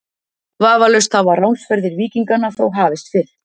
Vafalaust hafa ránsferðir víkinganna þó hafist fyrr.